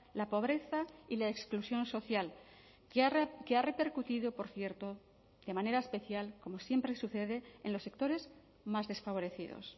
la pobreza y la exclusión social que ha repercutido por cierto de manera especial como siempre sucede en los sectores más desfavorecidos